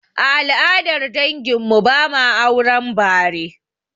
A al'adar dangin mu, ba ma auren bare